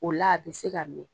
O la a bɛ se ka mɛn.